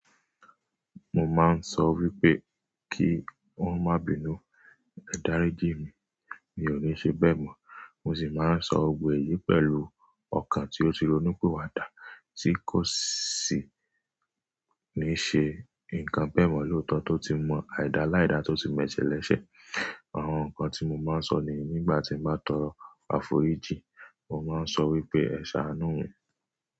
Mo máà ń sọ wípé kí wọ́n má bínú, ẹ̀ dáriji mí, mi ò níí ṣe bẹ́ẹ̀ mọ̀. Mo sì máa ń sọ òwe yìí pẹ̀lú ọ̀kàn tí ó ti ronú piwá dá, tí kò sì ní ṣe ǹkan bẹ́ẹ̀ mọ́ lóòtọ́, tó ti mọ àìda láìda, tó ti m'ẹsẹ́ lẹsẹ̀. Àwọn ǹkan tí mo máa ń sọ ní nígbà tí mo bá tọrọ àforíjì. Mo má ń sọ wípé "ẹ̀ sáanú mi".